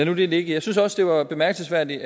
nu det ligge jeg synes også det var bemærkelsesværdigt